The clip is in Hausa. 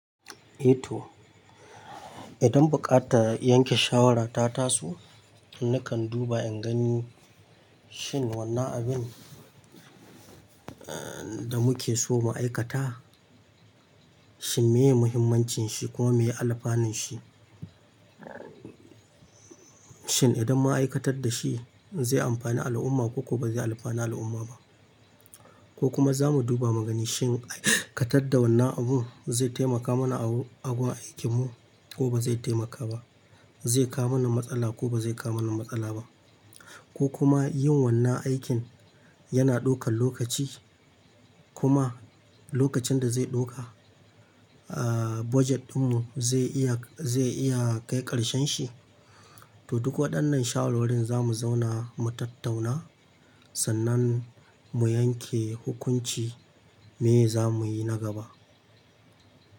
Eh to, idan buƙatar yanke shawara ta taso, nakan duba in gani shin wannan abin da muke so mu aikata, shin meye muhimmancin shi kuma meye alfanun shi? Shin idan mun aikatar da shi zai amfani al'umma ko kuwa ba zai alfani al'umma ba? Ko kuma za mu duba mu ga shin aikatar da wannan abun zai taimaka mana a gurin aikin mu ko ba zai taimaka ba, zai kawo mana matsala ko ba zai kawo mana matsala ba, ko kuma yin wannan aikin yana ɗaukan lokaci kuma lokacin da zai ɗauka aa budget ɗinmu zai iya, zai iya kai ƙarshen shi, to duk waɗannan shawarwarin za mu zauna mu tattauna sannan mu yanke hukunci me za muyi na gaba.